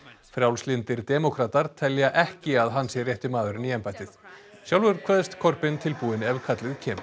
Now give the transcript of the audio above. frjálslyndir demókratar telja ekki að hann sé rétti maðurinn í embættið sjálfur kveðst tilbúinn ef kallið kemur